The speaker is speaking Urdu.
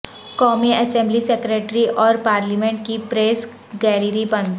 قومی اسمبلی سیکریٹریٹ اور پارلیمنٹ کی پریس گیلری بند